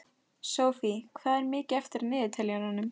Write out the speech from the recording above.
Sophie, hvað er mikið eftir af niðurteljaranum?